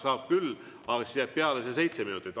Saab küll, aga siis jääb peale see seitse minutit.